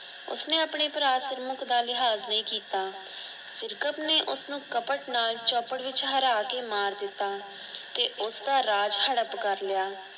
ਉਸਨੇ ਆਪਣੇ ਭਰਾ ਸਿਰਮੁਖ਼ ਦਾ ਲਿਹਾਜ ਨਹੀਂ ਕਿੱਤਾ। ਸਿਰਕਤ ਨੇ ਉਸਨੂੰ ਕਪਟ ਨਾਲ ਚੌਪੜ ਵਿਚ ਹਰਾਕੇ ਮਾਰ ਦਿੱਤਾ ਤੇ ਉਸ ਦਾ ਰਾਜ਼ ਹੜੱਪ ਕਰ ਲਿਆ।